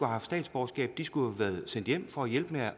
haft statsborgerskab de skulle have været sendt hjem for at hjælpe